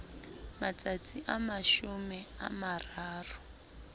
matsatsi a mashome a mararo